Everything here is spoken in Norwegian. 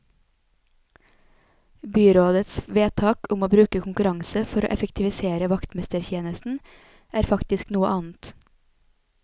Byrådets vedtak om å bruke konkurranse for å effektivisere vaktmestertjenesten er faktisk noe annet.